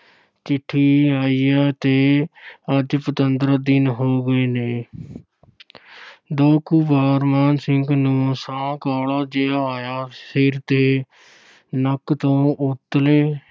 ਚਿੱਠੀ ਆਇਆਂ ਤੇ ਅੱਜ ਪੰਦਰਾਂ ਦਿਨ ਹੋ ਗਏ ਨੇ ਦੋ ਕੁ ਵਾਰ ਮਾਨ ਸਿੰਘ ਨੂੰ ਸਾਹ ਕਾਹਲਾ ਜਿਹਾ ਆਇਆ, ਸਿਰ ਤੇ ਨੱਕ ਤੋਂ ਉਤਲੇ